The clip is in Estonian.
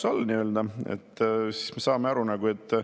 Selline ei ole juba ammu populaarne, eriti Euroopas.